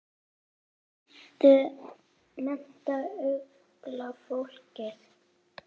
Og mennta unga fólkið.